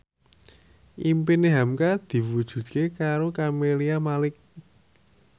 impine hamka diwujudke karo Camelia Malik